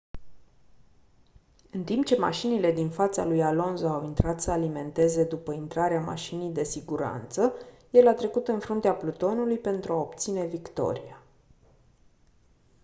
în timp ce mașinile din fața lui alonso au intrat să alimenteze după intrarea mașinii de siguranță el a trecut în fruntea plutonului pentru a obține victoria